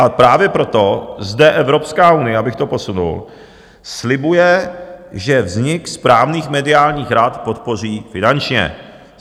A právě proto zde Evropská unie, abych to posunul, slibuje, že vznik správných mediálních rad podpoří finančně.